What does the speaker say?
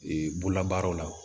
Ee bololabaaraw la